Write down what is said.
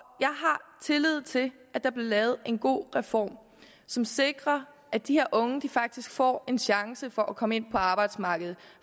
tillid til at der bliver lavet en god reform som sikrer at de her unge faktisk får en chance for at komme ind på arbejdsmarkedet